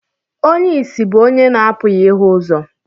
Onye ìsì bụ onye na-apụghị ịhụ ụzọ.